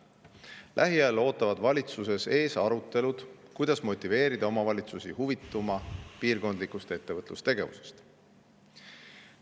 Lähiajal ootavad valitsuses ees arutelud, kuidas motiveerida omavalitsusi huvituma piirkondlikust ettevõtlustegevusest.